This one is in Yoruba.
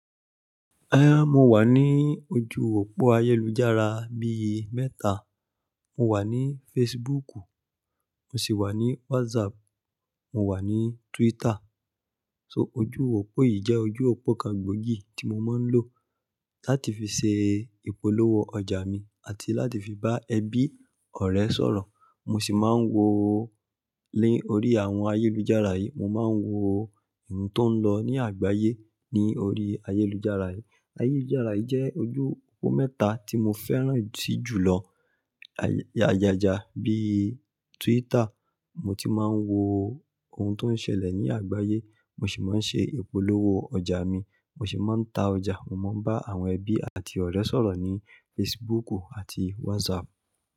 Eh he mo wà ní ojú òpó ayélujára bí i mẹ́ta. Mo wà ní Facebook, mo sì wà ní WhatsApp, mo wà ní Twitter. So ojú òpó yìí jẹ́ ojú òpó kan gbòógì tí mo máa ń lò láti fi ṣe ìpolówó ọjà mi àti láti fi bá ẹbí, ọ̀rẹ́ sọ̀rọ̀. Mo sì máa ń wo ni orí àwọn ayélujára yìí, mo máa ń wo ohun tó ń lọ ní àgbáyé ní orí ayélujára yìí. Ayélujára yìí jẹ́ ojú òpó mẹ́ta tí mo fẹ́ràn si jùlọ. Ayaja bíi Twitter, mo ti máa ń wo ohun tó ń ṣẹlẹ̀ ní àgbáyé, mo sì máa ń ṣe ìpolówó ọjà mi, mo sì máa ń ta ọjà. Mo máa ń bá àwọn ẹbí àti ọ̀rẹ́ sọ̀rọ̀ ní Facebook àti WhatsApp.